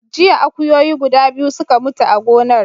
Jiya akuyoyi guda biyu suka mutu a gonar.